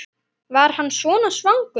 Var hann svona svangur?